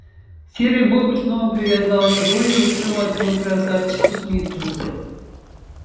серый бобр снова привязал его и утром отвёл к красавчику смиту